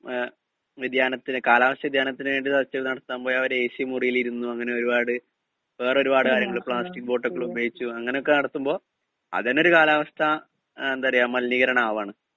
speaker 2 മ്ഹ് വ്യതിയാനത്തിന് കാലാവസ്ഥാ വ്യതിയാനത്തിന് വേണ്ടി ചർച്ചകള് നടത്താൻ പോയവര് എ സി മുറികളിലിരുന്നു അങ്ങനെ ഒരു പാട് വേറെ ഒരു പാട് കാര്യങ്ങള് പ്ലാസ്റ്റിക്ക് ബോട്ടല് ഉപയോഗിച്ചു അങ്ങനെയൊക്കെ നടത്തുമ്പോ അതെന്നെ ഒരു കാലാവസ്ഥാ എന്താ പറയാ മലിനീകരണമാവാണ്